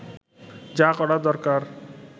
যা করার দরকার